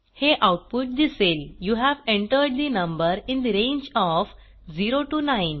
हे आऊटपुट दिसेल you have entered the number in the range O F 0 9